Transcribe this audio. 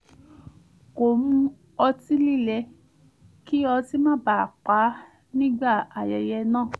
kò mu ọtí líle kí ọtí má baà pá nígbà aye̩ye̩ náà